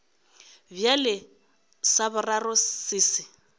bjale sa boraro se se